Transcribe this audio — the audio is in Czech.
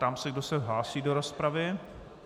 Ptám se, kdo se hlásí do rozpravy.